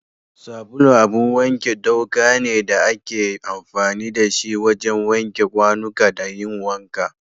Sabulu abun wake ɗauka ne da ake amfani da shi wajen wanke kwanuka da yin wanka.